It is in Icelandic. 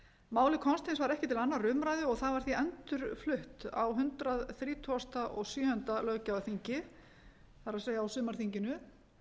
málið komst hins vegar ekki til annarrar umræðu og það var því endurflutt á hundrað þrítugasta og sjöunda löggjafarþingi það er á sumarþinginu